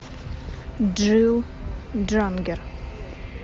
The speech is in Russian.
джил джангер